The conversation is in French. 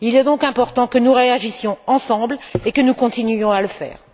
Il est donc important que nous réagissions ensemble et que nous continuions à le faire.